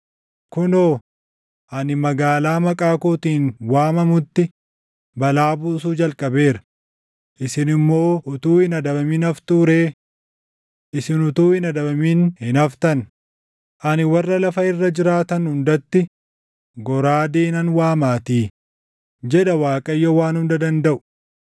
Kunoo, ani magaalaa Maqaa kootiin waamamutti balaa buusuu jalqabeera; isin immoo utuu hin adabamin haftuu ree? Isin utuu hin adabamin hin haftan; ani warra lafa irra jiraatan hundatti goraadee nan waamaatii, jedha Waaqayyo Waan Hunda Dandaʼu.’